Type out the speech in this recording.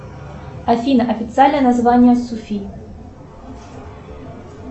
афина официальное название суфи